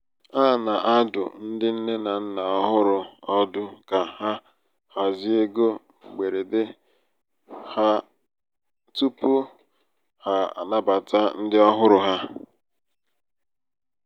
a na-adụ ndị nne na nna ọhụrụ ọdụ ka ha hazie égo mgberede ha (nchereoge) tupu (nchereoge) tupu ha anabata ndị ọhụrụ ha.